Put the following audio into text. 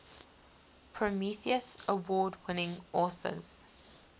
prometheus award winning authors